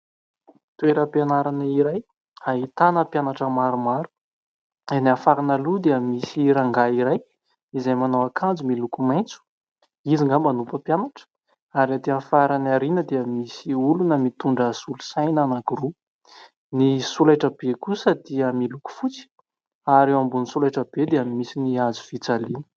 Toeram-pianarana iray ahitana mpianatra maromaro. Eny amin'ny farany aloha dia misy rangahy iray izay manao akanjo miloko maitso. Izy angamba no mpampianatra. Ary etỳ amin'ny farany aoriana dia misy olona mitondra solosaina anankiroa. Ny solaitrabe kosa dia miloko fotsy ary eo ambony solaitrabe dia misy ny hazo fijaliana.